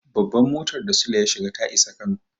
Babban mutar da Sule ya shiga ta isa Kano.